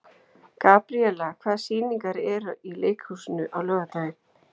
Gabríela, hvaða sýningar eru í leikhúsinu á laugardaginn?